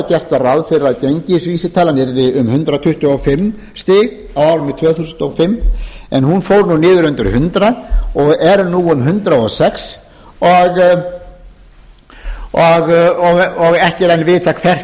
gert var ráð fyrir að gengisvísitalan yrði um hundrað tuttugu og fimm stig á árinu tvö þúsund og fimm en hún fór nú niður undir hundrað og er nú um hundrað og sex og ekki er enn vitað hvert